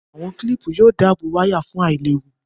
Àwọn kílìpù yóò dáàbò wáyà fún àìléwu